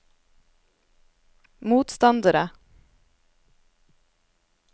motstandere